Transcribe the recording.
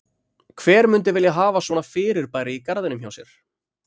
Hver mundi vilja hafa svona fyrirbæri í garðinum hjá sér?